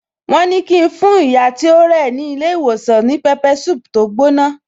Wón ní ki n fún ìyá tí ó rẹ̀ ní ilé ìwòsàn ní pepper soup tó gbóná